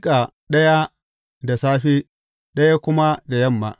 Ka miƙa ɗaya da safe, ɗaya kuma da yamma.